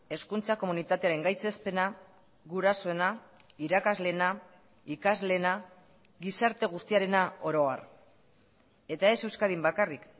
hezkuntza komunitatearen gaitzespena gurasoena irakasleena ikasleena gizarte guztiarena oro har eta ez euskadin bakarrik